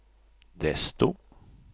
desto